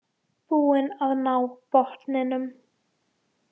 Búin að ná botninum